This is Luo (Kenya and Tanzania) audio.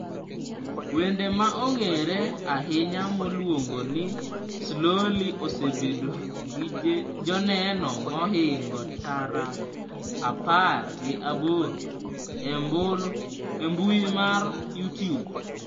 Wende ma ong'ere ahinya miluongo ni Slowly osebedo gi joneno mohingo tara apar gi aboro e mbui mar Youtube.